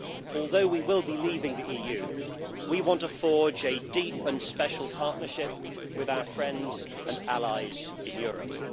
Although we will be leaving the EU, we want to forge a deep and special partnership with our friends and allies in Europe.